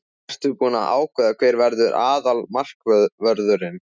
Ertu búinn að ákveða hver verður aðalmarkvörður?